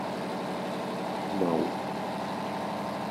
мау